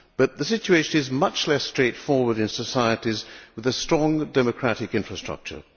But the situation is much less straightforward in societies with a strong democratic infrastructure.